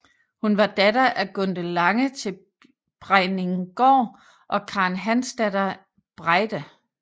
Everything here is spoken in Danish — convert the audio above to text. Hun var datter af Gunde Lange til Brejninggaard og Karen Hansdatter Breide